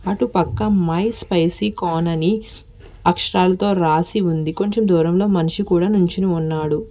అటు పక్క my spicy corn అని అక్షరాలతో రాసి ఉంది కొంచెం దూరంలో మనిషి కూడా నుంచొని ఉన్నాడు.